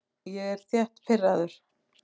Ég er þétt pirraður.